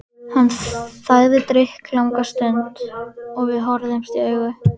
Hann þagði drykklanga stund og við horfðumst í augu.